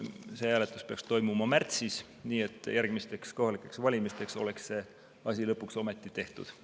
Hääletus peaks toimuma märtsis, nii et järgmisteks kohalikeks valimisteks oleks see asi lõpuks ometi tehtud.